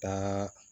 Taa